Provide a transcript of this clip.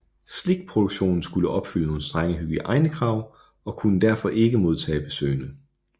Slikproduktionen skulle opfylde nogle strenge hygiejnekrav og kunne derfor ikke modtage besøgende